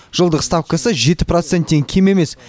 жылдық ставкасы жеті проценттен кем емес